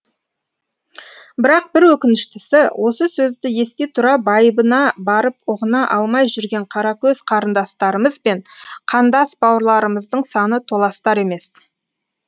бірақ бір өкініштісі осы сөзді ести тұра байыбына барып ұғына алмай жүрген қаракөз қарындастарымыз бен қандас бауырларымыздың саны толастар емес